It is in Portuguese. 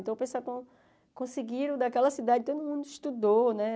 Então, pensar como conseguiram daquela cidade, todo mundo estudou, né?